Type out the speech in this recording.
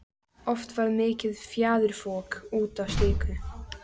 Oft varð mikið fjaðrafok út af slíku.